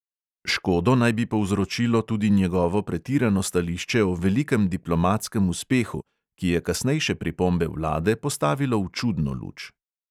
Škodo naj bi povzročilo tudi njegovo pretirano stališče o velikem diplomatskem uspehu, ki je kasnejše pripombe vlade postavilo v čudno luč.